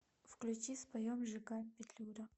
включи споем жиган петлюра